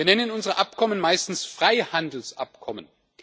Wir nennen unsere Abkommen meistens Freihandelsabkommen.